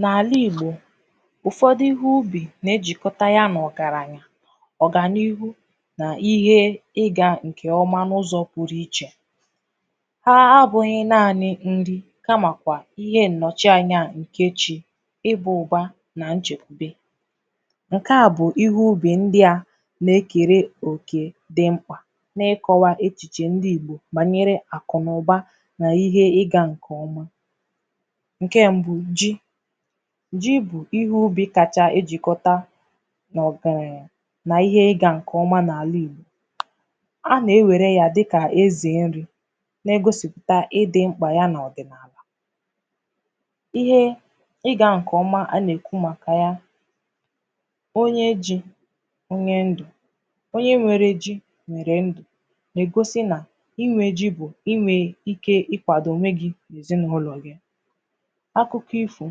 N’alà Igbò ụfọdụ̀ ihe ubi na-ejikota ya na ọgaranyà ọ ga n;ihu n’ihe ị ga nke ọmà n’ụzọ̀ pụrụ ichè haa abụghị̀ naanị̀ nrì kamakwà ihe nnochi anya nke chi ị ba ụbà na nchekwubè nke à bụ̀ ihe ubi ndị à ma ekere okē dị m̄kpà n’ịkọwà echichè ndị Igbò banyere akụ na ụbà n’ihe ị ga nke ọmà nke mbụ̀, ji ji bụ ihe ubì kachà ejikọtà n’ọkwà yà n’ihe ị ga nke ọmà n’alà Igbò a na-ewre ya dịkà eze nrì na-egosiputà ịdị ṃkpà ya na-adịrị̀ ihe ị ga nke ọmà a na-ekwu makà yà onye ji onye ndụ̀ onye nwere ji nwere ndụ̀ na-egosi nà inwe ji bụ̀ inwe ike ikwadò onwe gi n’ezinaụlọ̀ gị̀ akụkọ̀ ifo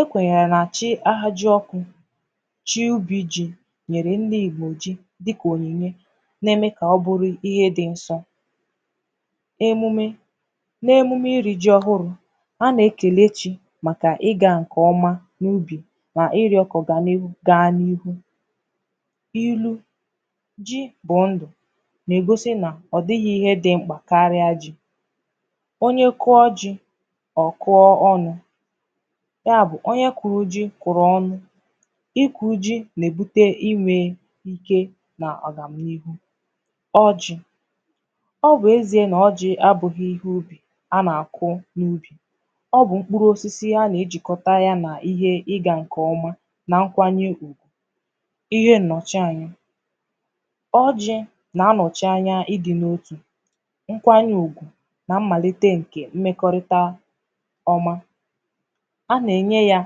ekwenyere na-achị̀ ahaji ọkụ chi obì ji nyere ndị̀ Igbò ji dịkà onyinyè na-eme ka ọ ḅrụ̀ ihe dị nsọ emume na-emume iri ji ọhụrụ̀ a na-ekele chi makà ị ga nke ọmà n’ubì n’ịrọ̀ ka ọganihu gaa n’ihu ilu ji bụ ndụ̀ na-egosi nà ọ dịghị̀ ihe dị m̄kpà karịà ji onye kụ̣ọ ji ọ kụọ ọnụ̀ ya bụ̀ onye kụrụ̀ ji kụrụ̀ ọnụ̀ ịkụ ji na-ebute inwe ike na agam n’ihu ọjị ọ bụ̀ ezie na ọjị abụghị̀ ihe ubi a na-akụ̀ n’ubì ọ bụ̀ m̄kpụrụ osisi a na-ejikọtà yà n’ihe ị ga nke ọmà na nkwanye ùgwù ihe nnochi anya ọjị̀ na-anọchi anya ịdị n’otù nkwanye ùgwù na mmalite nke mmekọrịtà ọmà a na-enye yà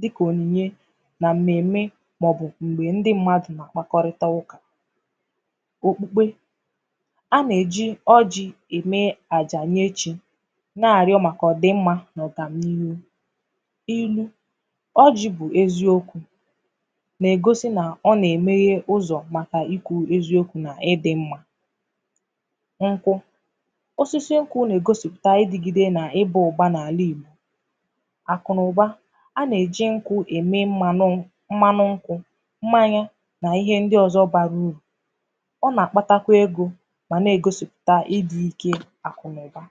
dịkà onyinyè na mmeme maọ̀bụ̀ m̄gbe ndị mmadụ̀ na-akpakọrịtà ụkà okpukpe a na-eji ọjị eme àjà nye chi na-arịọ makà ọdị mma na agam n’ihu ilu ọjị bụ̀ eziokwù na-egosi na ọ na-emeghe ụzọ ma n’ikwu eziokwu na ịdị mma nkwụ osisi nkwụ na-egosipu tà idigide na ịba ụbà n’alà Igbò akụ na ụba a na-eji nkwụ̀ eme mmanụ̀ mmanụ̀ nkwụ̀ mmanya n’ihe ndị ọzọ̀ barà uru ọ na-akpatakwà egō ma na-egosipu tà idi ike akụ na ụba.